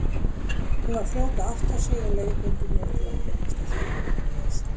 Hún var fljót að átta sig og leiðbeindi mér til að komast í þungunarpróf.